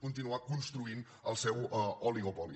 continuar construint el seu oligopoli